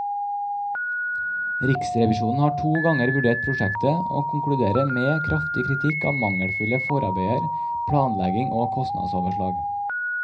Riksrevisjonen har to ganger vurdert prosjektet, og konkluderer med kraftig kritikk av mangelfulle forarbeider, planlegging og kostnadsoverslag.